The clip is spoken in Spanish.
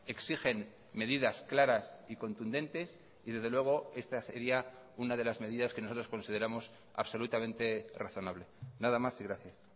exigen medidas claras y contundentes y desde luego esta sería una de las medidas que nosotros consideramos absolutamente razonable nada más y gracias